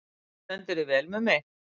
Þú stendur þig vel, Mummi!